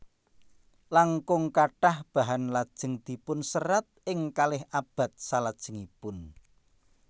Langkung kathah bahan lajeng dipun serat ing kalih abad salajengipun